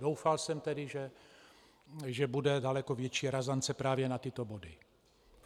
Doufal jsem tedy, že bude daleko větší razance právě na tyto body.